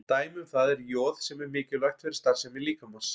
Dæmi um það er joð sem er mikilvægt fyrir starfsemi líkamans.